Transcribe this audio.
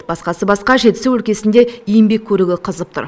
басқасы басқа жетісу өлкесінде еңбек көрігі қызып тұр